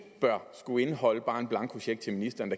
bør skulle indeholde bare en blankocheck til ministeren